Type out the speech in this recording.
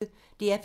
DR P1